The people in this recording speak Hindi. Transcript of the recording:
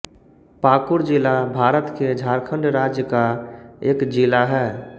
पाकुड़ ज़िला भारत के झारखण्ड राज्य का एक जिला है